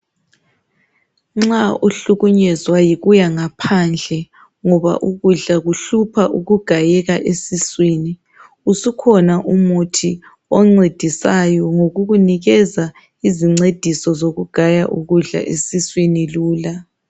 Nxa ukuhlukunyezwa yikuya ngaphandle, ngoba ukudla kuhlupha ukugayeka esuswini. Isukhona umithi oncedisayo ngokukunikeza izincediso zokugaya ukudla esuswini lula.